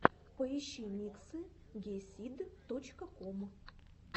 поищи миксы гесид точка ком